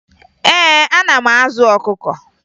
Ee, ana m azụ ọkụkọ